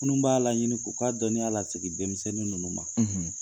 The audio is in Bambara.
Minun b'a la ɲini k'u k'a dɔniya la segi denmisɛnnin ninnu ma.